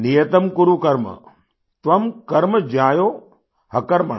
नियतं कुरु कर्म त्वं कर्म ज्यायो ह्यकर्मण